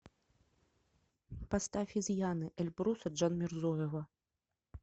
поставь изъяны эльбруса джанмирзоева